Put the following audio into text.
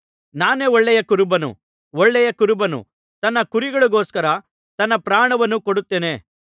ನಾನೇ ಒಳ್ಳೆಯ ಕುರುಬನು ಒಳ್ಳೆಯ ಕುರುಬನು ತನ್ನ ಕುರಿಗಳಿಗೋಸ್ಕರ ತನ್ನ ಪ್ರಾಣವನ್ನು ಕೊಡುತ್ತಾನೆ